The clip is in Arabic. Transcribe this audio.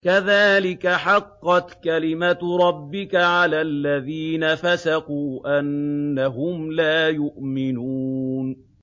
كَذَٰلِكَ حَقَّتْ كَلِمَتُ رَبِّكَ عَلَى الَّذِينَ فَسَقُوا أَنَّهُمْ لَا يُؤْمِنُونَ